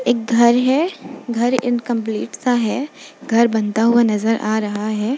एक घर है। घर इनकंप्लीट सा है। घर बनता हुआ नजर आ रहा है।